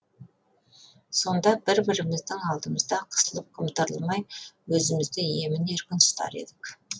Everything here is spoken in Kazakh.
сонда бір біріміздің алдымызда қысылып қымтырылмай өзімізді емін еркін ұстар едік